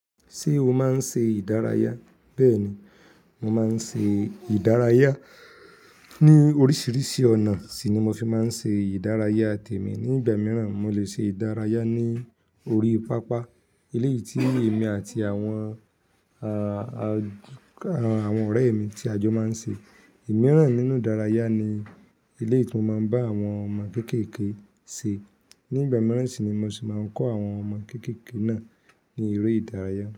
Ṣé o máa ń ṣe ìdárayá? Bẹ́ẹ̀ ni, mo máa ń ṣe ìdárayá. Ni oríṣiríṣi ọ̀nà sì ni mo fi máa ń ṣe ìdárayá tèmi. Ni ìgbà mìíràn, mo lè ṣe ìdárayá ní orí pápá eleyi yìí tí èmi àti àwọn, àwọn ọ̀rẹ́ mi tí a jọ máa ń ṣe. Ìmíràn nínú ìdárayá ni eleyi ti mo máa ń bá àwọn ọmọ kéékèèké ṣe. Ni ìgbà mìíràn sì ni mo sì máa ń kọ́ àwọn ọmọ kéékèèké náà ní eré ìdárayá.